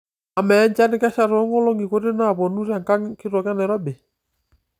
amaa enchan kesha toonkolong'i kuti naapuonu tenkang' kitok enairobi